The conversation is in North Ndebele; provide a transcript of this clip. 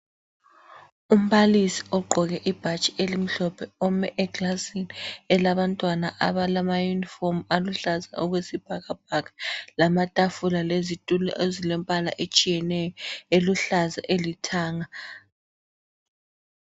Umbalisi ogqoke ibhatshi elimhlophe ome ekilasini eyabantwana abalamayunifomu aluhlaza okwesibhakabhaka lamtafula lezitulo ezilembala etshiyeneyo, eluhlaza elithanga.